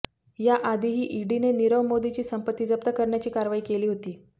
याआधीही ईडीने नीरव मोदीची संपत्ती जप्त करण्याची कारवाई केली होती